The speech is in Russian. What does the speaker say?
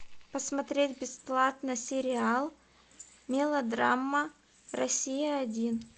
посмотреть бесплатно сериал мелодрама россия один